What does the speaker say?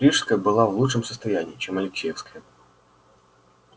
рижская была в лучшем состоянии чем алексеевская